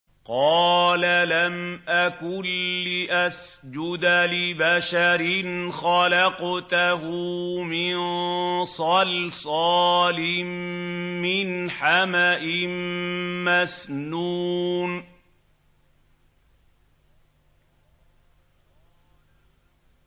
قَالَ لَمْ أَكُن لِّأَسْجُدَ لِبَشَرٍ خَلَقْتَهُ مِن صَلْصَالٍ مِّنْ حَمَإٍ مَّسْنُونٍ